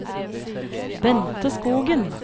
Bente Skogen